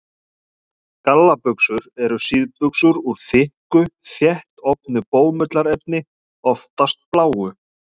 Gallabuxur eru síðbuxur úr þykku, þéttofnu bómullarefni, oftast bláu.